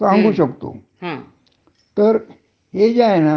हं, हं. बरोबर आहे, पगार, भरपूर पगाराच्या नोकऱ्या मिळतात. हं.